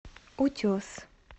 утес